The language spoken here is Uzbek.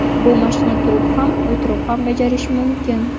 Bu mashqni turib ham, o‘tirib ham bajarish mumkin.